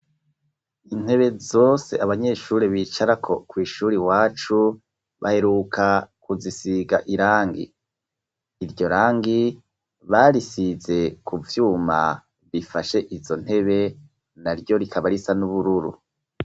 Intebe zose abanyeshuri bicara kw'ishuri wacu baheruka kuzisiga irangi iryo rangi barisize kuvyuma bifashe izo ntebe na ryo rikaba risa n'ubururu.